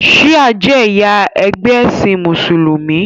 shia je ẹyà ẹgbẹ esin musulumi